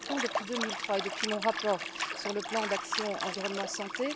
Nous le rappelons depuis 2003 et depuis mon rapport sur le plan d'action environnement santé.